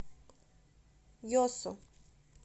йосу